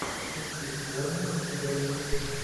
ищи борнмут бернли